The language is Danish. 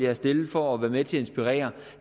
har stillet for at være med til at inspirere